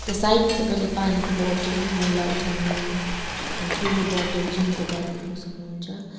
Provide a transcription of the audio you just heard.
त्यहाँ साइड मा तपाईँले पानीको बोटल मैला उठाउने त्यहाँ ठूलो बोटल जिम को ब्याग देख्न सक्नुहुन्छ।